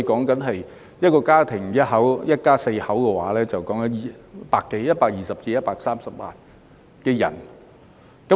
假設一個家庭是一家四口，牽涉的人數便有120萬至130萬。